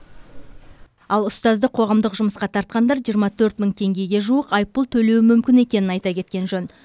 ал ұстазды қоғамдық жұмысқа тартқандар жиырма төрт мың теңгеге жуық айыппұл төлеуі мүмкін екенін айта кеткен жөн